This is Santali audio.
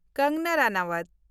ᱠᱟᱝᱜᱟᱱᱟ ᱨᱟᱱᱟᱣᱟᱛ